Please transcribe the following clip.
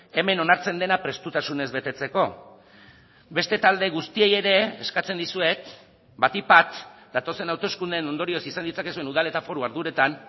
hemen onartzen dena prestutasunez betetzeko beste talde guztiei ere eskatzen dizuet batik bat datozen hauteskundeen ondorioz izan ditzakezuen udal eta foru arduretan